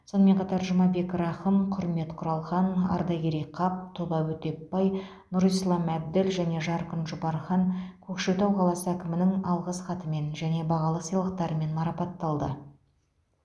сонымен қатар жұмабек рахым құрмет құралхан ардақерей қап тоба өтепбай нұрислам әбділ және жарқын жұпархан көкшетау қаласы әкімінің алғыс хатымен және бағалы сыйлықтармен марапатталды